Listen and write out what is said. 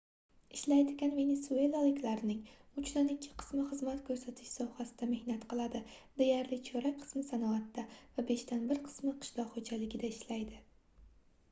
ishlaydigan venesuelaliklarning uchdan ikki qismi xizmat koʻrsatish sohasida mehnat qiladi deyarli chorak qismi sanoatda va beshdan bir qismi qishloq xoʻjaligida ishlaydi